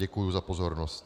Děkuji za pozornost.